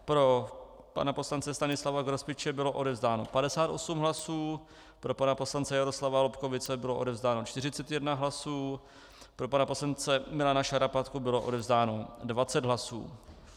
Pro pana poslance Stanislava Grospiče bylo odevzdáno 58 hlasů, pro pana poslance Jaroslava Lobkowicze bylo odevzdáno 41 hlasů, pro pana poslance Milana Šarapatku bylo odevzdáno 20 hlasů.